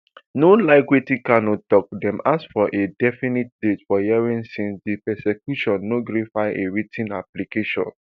no like wetin kanu tok dem ask for a definite date for hearing since di prosecution no gree file a writ ten application